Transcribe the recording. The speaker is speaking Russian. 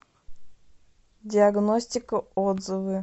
диагностика отзывы